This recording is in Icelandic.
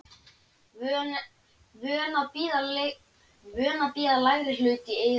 Vön að bíða lægri hlut í heitum orðasennum.